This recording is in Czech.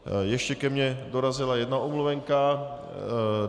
Ještě ke mně dorazila jedna omluvenka.